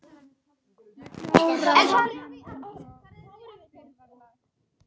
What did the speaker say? Ég kláraði hana einsog fyrir var lagt.